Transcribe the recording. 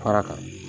Fara kan